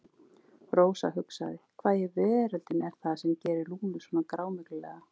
Rósa hugsaði: Hvað í veröldinni er það sem gerir Lúnu svona grámyglulega?